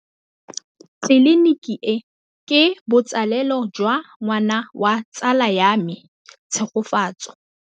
Tleliniki e, ke botsalêlô jwa ngwana wa tsala ya me Tshegofatso.